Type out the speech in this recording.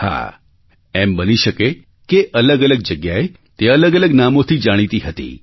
હા એમ બની શકે કે અલગઅલગ જગ્યાએ તે અલગઅલગ નામોથી જાણીતી હતી